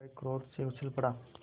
वह क्रोध से उछल पड़ा